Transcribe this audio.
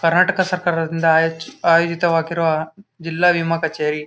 ಕರ್ನಾಟಕ ಸರ್ಕಾರದಿಂದ ಆಯೋ ಆಯೋಜಿತವಾಗಿರುವ ಜಿಲ್ಲಾ ವಿಮಾ ಕಛೇರಿ .